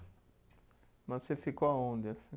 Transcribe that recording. Mas você ficou aonde assim?